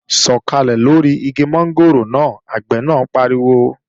Sọ̀kàlẹ̀ lóri igi mọ́ngòrò náà! Àgbẹ̀ náà pariwo